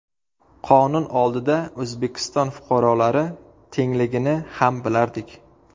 Qonun oldida O‘zbekiston fuqarolari tengligini ham bilardik.